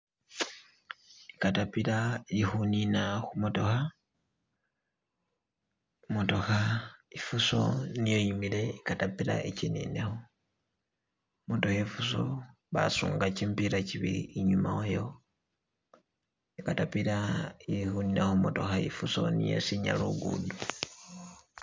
Ikatapila ikunina kumotoka, imotoka ifusoo niye yimile ikatapila ijinineko, imotoka ifuso basunga jimipila jibili inyuma wayo, ikatapila iyili kunina kufuso niye isinya lugudo